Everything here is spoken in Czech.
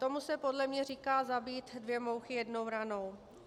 Tomu se podle mě říká zabít dvě mouchy jednou ranou.